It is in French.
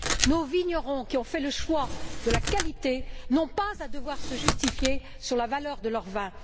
Nos vignerons, qui ont fait le choix de la qualité, n'ont pas à devoir se justifier sur la valeur de leur vin.